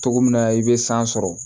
Togo min na i bɛ san sɔrɔ